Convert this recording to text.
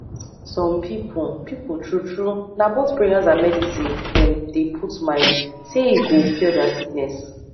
some people people true true na both prayers and medicine them dey put mind saye go cure their sickness